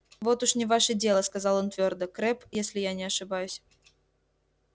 вот уж не ваше дело сказал он твёрдо крэбб если я не ошибаюсь